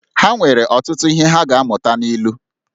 Ha nwere ọtụtụ ihe ha ga-amụta n’ilu